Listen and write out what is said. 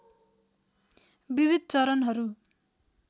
विविध चरणहरू